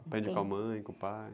Aprende com a mãe, com o pai.